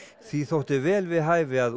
því þótti vel við hæfi að